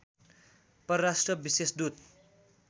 परराष्ट्र विशेष दूत